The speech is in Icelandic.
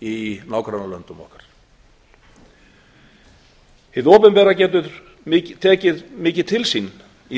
í nágrannalöndum okkar hið opinbera getur tekið mikið til sín